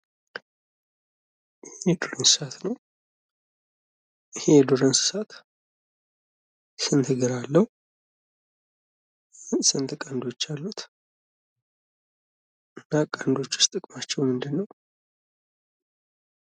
የዱር እንስሳት ነዉ። ይሄ የዱር እንስሳት ስንት እግር አለዉ? ስንት ቀንዶች አሉት? እና ቀንዶቹስ ጥቅማቸዉ ምንድን ነዉ?